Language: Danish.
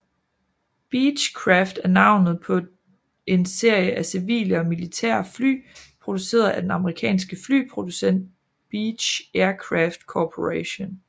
Beechcraft er navnet på en serie af civile og militære fly produceret af den amerikanske flyproducent Beech Aircraft Corporation